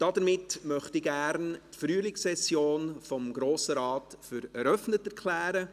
Somit möchte ich gerne die Frühlingssession des Grossen Rates für eröffnet erklären.